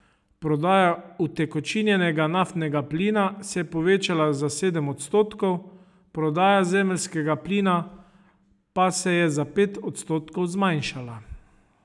Prodaja utekočinjenega naftnega plina se je povečala za sedem odstotkov, prodaja zemeljskega plina pa se je za pet odstotkov zmanjšala.